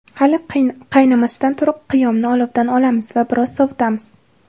Hali qaynamasidan turib, qiyomni olovdan olamiz va biroz sovitamiz.